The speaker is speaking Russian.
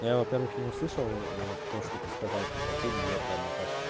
я во-первых не услышал то что ты сказала типа фильм лето одноклассники